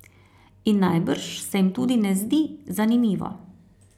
In najbrž se jim tudi ne zdi zanimivo.